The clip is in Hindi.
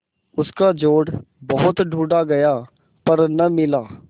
उसका जोड़ बहुत ढूँढ़ा गया पर न मिला